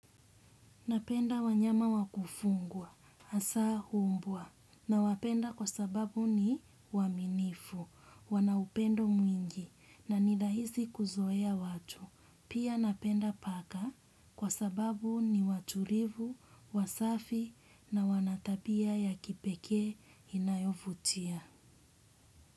Napenda wanyama wakufungwa, asa humbwa na wapenda kwa sababu ni waminifu, wanaupendo mwingi na nirahisi kuzoea watu. Pia napenda paka kwa sababu ni waturivu, wasafi na wanatapia ya kipekee inayovutia.